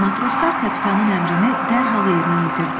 Matroslar kapitanın əmrini dərhal yerinə yetirdilər.